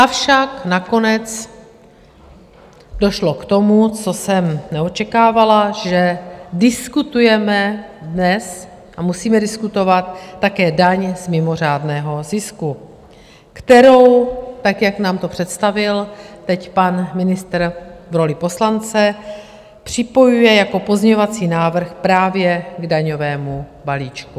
Avšak nakonec došlo k tomu, co jsem neočekávala, že diskutujeme dnes a musíme diskutovat také daň z mimořádného zisku, kterou tak, jak nám to představil teď pan ministr v roli poslance, připojuje jako pozměňovací návrh právě k daňovému balíčku.